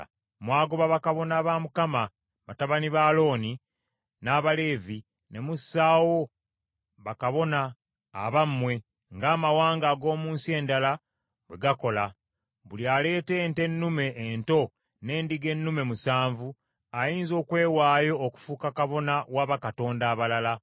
Mwagoba bakabona ba Mukama , batabani ba Alooni, n’Abaleevi, ne mussaawo bakabona abammwe ng’amawanga ag’omu nsi endala bwe gakola. Buli aleeta ente ennume ento n’endiga ennume musanvu ayinza okwewaayo okufuuka kabona wa bakatonda abalala.